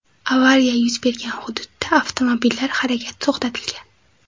Avariya yuz bergan hududda avtomobillar harakati to‘xtatilgan.